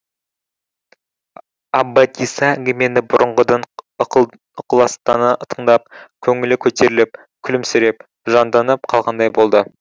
аббатиса әңгімені бұрынғыдан ықыластана тыңдап көңілі көтеріліп күлімсіреп жанданып қалғандай болды